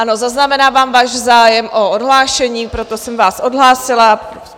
Ano, zaznamenávám váš zájem o odhlášení, proto jsem vás odhlásila.